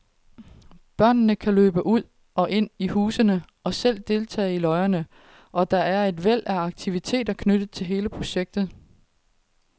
Børnene kan løbe ud og ind i husene og selv deltage i løjerne, og der er et væld af aktiviteter knyttet til hele projektet.